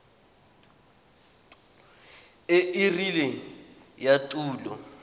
e e rileng ya tulo